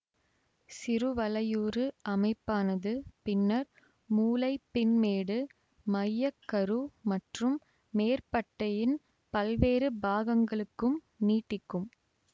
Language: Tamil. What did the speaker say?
சிறுவலையுரு அமைப்பானது பின்னர் மூளைப் பின்மேடு மைய கரு மற்றும் மேற்பட்டையின் பல்வேறு பாகங்களுக்கும் நீட்டிக்கும்